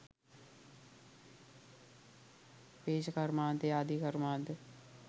පේෂ කර්මාන්තය ආදී කර්මාන්ත